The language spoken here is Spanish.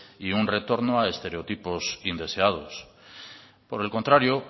y un retorno a estereotipos indeseados por el contrario